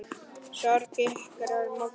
Sorg ykkar er mikil.